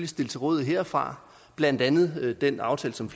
stille til rådighed herfra blandt andet ved den aftale som